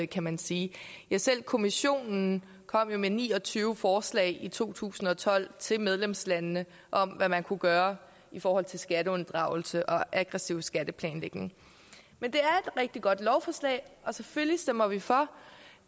kan man sige ja selv kommissionen kom jo med ni og tyve forslag i to tusind og tolv til medlemslandene om hvad man kunne gøre i forhold til skatteunddragelse og aggressiv skatteplanlægning men det er rigtig godt lovforslag og selvfølgelig stemmer vi for